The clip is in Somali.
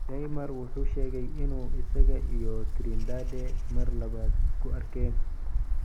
Neymar wuxuu sheegay inuu isaga iyo Trindade mar labaad isku arkeen.